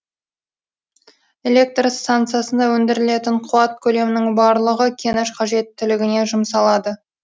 электр станциясында өндірілетін қуат көлемінің барлығы кеніш қажеттілігіне жұмсалады